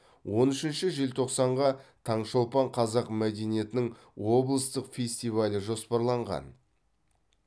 он үшінші желтоқсанға таңшолпан қазақ мәдениетінің облыстық фестивалі жоспарланған